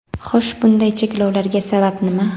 Xo‘sh, bunday cheklovlarga sabab nima?.